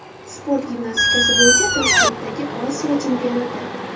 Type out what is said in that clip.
Sport gimnastikasi bo‘yicha Toshkentdagi Osiyo chempionati.